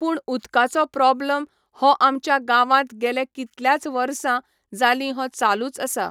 पूण उदकाचो प्रॉब्लम हो आमच्या गांवांत गेले कितल्याच वर्सां, जालीं हो चालूच आसा.